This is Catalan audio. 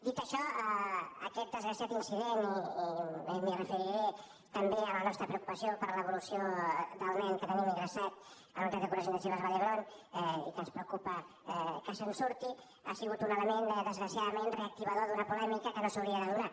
dit això aquest desgraciat incident i em referiré també a la nostra preocupació per l’evolució del nen que tenim ingressat a la unitat de cures intensives de vall d’hebron i que ens preocupa que se’n surti ha sigut un element desgraciadament reactivador d’una polèmica que no s’hauria de donar